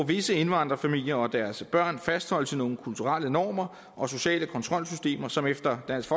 visse indvandrerfamilier og deres børn fastholdes i af nogle kulturelle normer og sociale kontrolsystemer som efter dansk